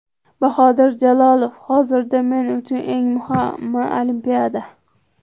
Bahodir Jalolov: Hozirda men uchun eng muhimi Olimpiada.